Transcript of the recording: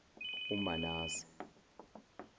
umanase